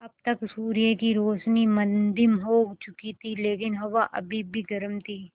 अब तक सूर्य की रोशनी मद्धिम हो चुकी थी लेकिन हवा अभी भी गर्म थी